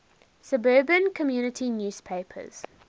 suburban community newspapers